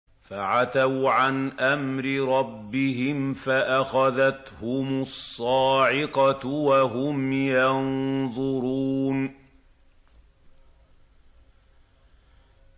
فَعَتَوْا عَنْ أَمْرِ رَبِّهِمْ فَأَخَذَتْهُمُ الصَّاعِقَةُ وَهُمْ يَنظُرُونَ